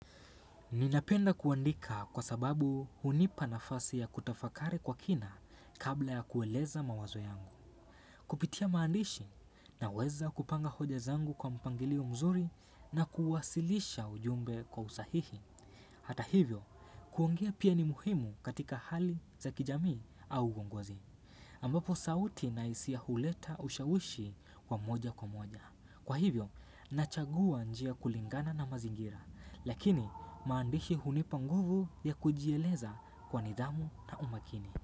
Ninapenda kuandika kwa sababu hunipa nafasi ya kutafakari kwa kina kabla ya kueleza mawazo yangu. Kupitia maandishi naweza kupanga hoja zangu kwa mpangilio mzuri na kuwasilisha ujumbe kwa usahihi. Hata hivyo, kuongea pia ni muhimu katika hali za kijami au ugongozi. Ambapo sauti na isia huleta ushawishi wa moja kwa moja. Kwa hivyo, nachagua njia kulingana na mazingira, lakini maandishi hunipanguvu ya kujieleza kwa nidamu na umakini.